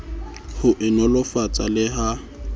ho e nolofatsa le ha